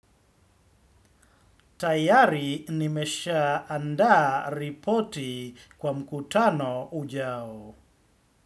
Tayari nimesha andaa ripoti kwa mkutano hujao.